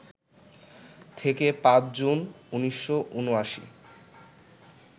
থেকে ৫ জুন ১৯৭৯